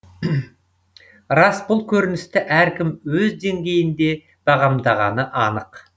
рас бұл көріністі әркім өз деңгейінде бағамдағаны анық